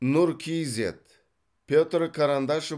нұр кейзэт петр карандашов